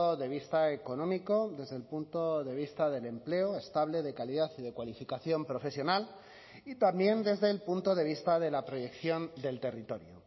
de vista económico desde el punto de vista del empleo estable de calidad y de cualificación profesional y también desde el punto de vista de la proyección del territorio